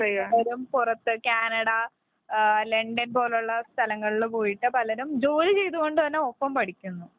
പലരും പുറത്ത് Canada, London പോല് ഉള്ള സ്ഥലങ്ങളിൽ പോയിട്ട് പലരും ജോലി